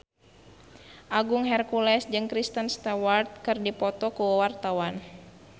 Agung Hercules jeung Kristen Stewart keur dipoto ku wartawan